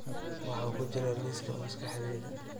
waxa ku jira liiska maskaxdayda